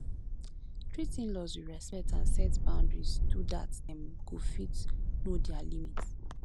treat inlaws with respect and set boundaries do dat dem go fit know their limit